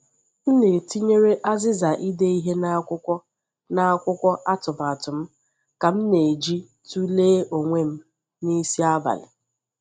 M tinyere azịza ide ihe n’akwụkwọ n’akwụkwọ atụmatụ m ka m na-eji tụlee onwe m n’isi abalị.